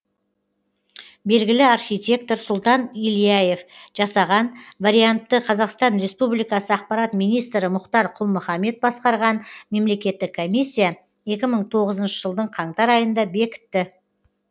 белгілі архитектор сұлтан ильяев жасаған вариантты қазақстан республикасы ақпарат министрі мұхтар құл мұхаммед басқарған мемлекеттік комиссия екі мың тоғызыншы жылдың қаңтар айында бекітті